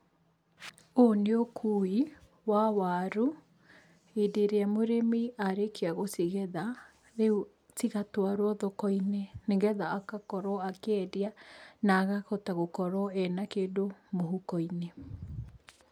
Ũyũ nĩ ũkuui wa waru, hĩndĩ ĩrĩa mũrĩmi arĩkia gũcigetha, rĩu cigatwarwo thokoinĩ nĩ getha agakorwo akĩendia, na akahota gukorwo ena kĩndũ mũhuko-inĩ.